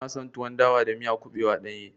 Ina son tuwon dawa da miya kuɓewa ɗanye.